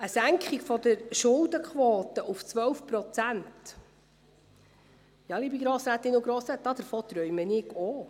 Von einer Senkung der Schuldenquote auf 12 Prozent, liebe Grossrätinnen und Grossräte, davon träume auch ich.